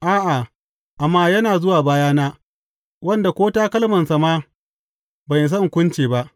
A’a, amma yana zuwa bayana, wanda ko takalmansa ma ban isa in kunce ba.’